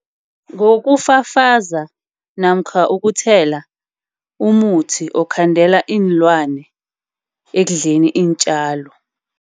Ngokufafaza namkha ukuthela umuthi okukhandela iinlwane ekudleni iintjalo.